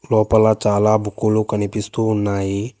లోపల చాలా బుక్కులు కనిపిస్తూ ఉన్నాయి.